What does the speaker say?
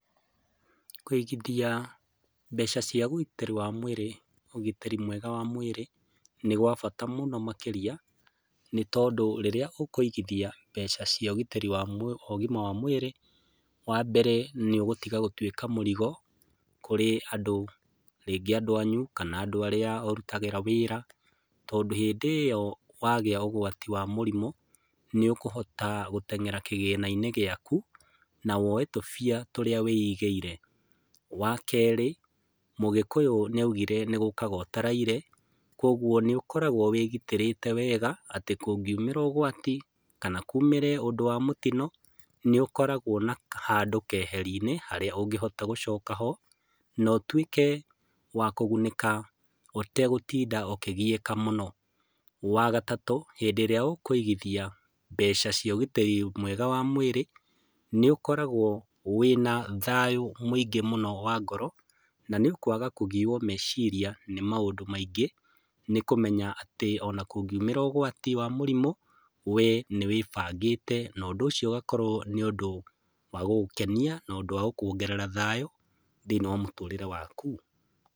Kũigithia mbeca cia ũgitĩri wa mwĩrĩ, ũgitĩri mwega wa mwĩrĩ nĩ wa bata mũno makĩria nĩtondũ rĩrĩa ũkũigithia mbeca cia ũgitĩri wa mwĩrĩ, wa mbere nĩ ũgũtiga gũtwĩka mũrigo kũrĩ andũ, rĩngĩ andũ anyu, kana andũ arĩa ũrutagĩra wĩra tondũ hĩndĩ ĩo wagĩa ũgwati wa mũrimũ nĩ ũkũhota gũteng'era kĩgĩna-inĩ gĩaku na woe tũbia tũrĩa wĩigĩire. Wa kerĩ, mũgĩkũyũ nĩ augire nĩgũkaga ũtaraire, kũoguo nĩ ũkoragwo wĩgitĩrĩte wega, atĩ kũngiumĩra ũgwati kana kũmĩre ũndũ wa mũtino nĩũkoragwo na handũ keherinĩ harĩa ũngĩhota gũcoka ho no ũtwĩke wa kũgunĩka ũtegũtinda ũkĩgiaka mũno. Wa gatatũ, hĩndĩ ĩrĩa ũkũigithia mbeca cia ũgitĩrĩ mwega wa mwĩrĩ nĩ ũkoragwo wĩna thayũ mũingĩ mũno wa ngoro na nĩ ũkwaga kũgio meciria nĩ maũndũ maingĩ nĩkũmenya atĩ o na kũngiumĩra ũgwati wa mũrimũ, wee nĩwĩbangĩte na ũndũ ũcio ũgakorwo nĩ wa gũgũkenia no ũndũ wa gũkuongerera thayũ thĩiniĩ wa mũtũrĩre waku.